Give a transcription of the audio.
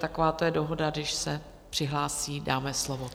Taková to je dohoda, když se přihlásí, dáme slovo.